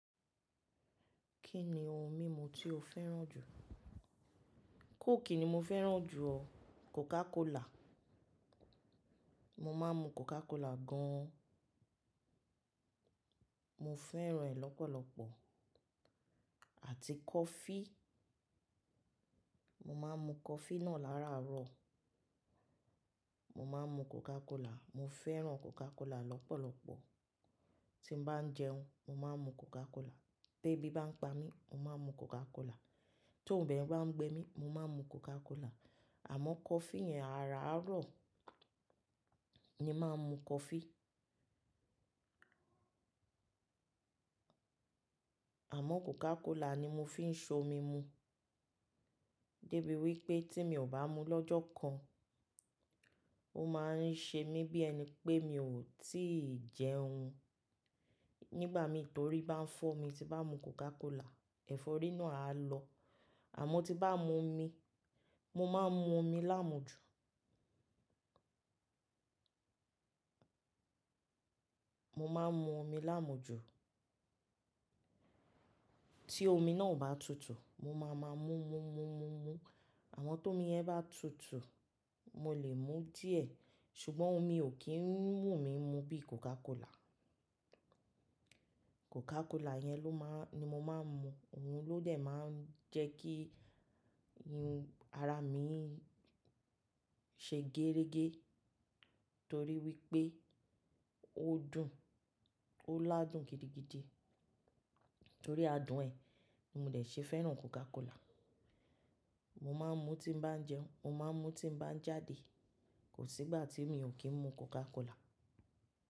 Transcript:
Kí ni ohun mímu tí o fẹ́ràn jù? Coke ni mo fẹ́ràn jù ọ, Coca Cola. Mo máa ń mu Coca Cola gan an. Mo fẹ́ràn rẹ̀ lọ́pọ̀lọpọ̀ àti coffee. Mo máa ń mu coffee náà láràárọ̀. Mo máa ń mu Coca Cola, mo fẹ́ràn Coca Cola lọ́pọ̀lọpọ̀. Tí mo bá ń jẹun, mo máa ń mu Coca Cola. Bé bí bá ń pa mí, mo máa ń mu Coca Cola. Tó ń bẹ bá ń gbe mí, mo máa ń mu Coca Cola. Àmọ́ coffee yẹn, àárọ̀ ni máa ń mu coffee. Àmọ́ Coca Cola ni mo fi ń ṣe omi mu. Dé bí wí pé tí mi ò bá mu lọ́jọ́ kan, ó máa ń ṣe mí bí ẹni pé mi ò tíì jẹun nígbà mi torí bá ń fọ́ mi. Ti bá mu Coca Cola, ẹ̀fọ́rí náà á lọ. Àmọ́ tí bá mu omi, mo máa ń mu omi láàmú ju. Mo máa ń mu omi láàmú ju. Tí omi náà bá tutù, mo máa máa mú, mú, mú, mú, mú. Àmọ́ tó mi yẹn bá tutù, mo lè mú díẹ̀ ṣùgbọ́n omi ò kí ń wù mí mu bíi Coca Cola. Coca Cola yẹn ló má-- ni mo máa ń mu. Òun ló dẹ̀ máa ń jẹ́ kí ara mi ṣe gérégé torí wí pé ó dùn, ó ládùn gidigidi. Torí adùn ẹ ni mo dẹ̀ ṣe fẹ́ràn Coca Cola. Mo máa ń mu tí mo bá ń jẹun, mo máa ń mu tí mo bá ń jáde. Kò sí ìgbà tí mi ò kí ń mu Coca Cola.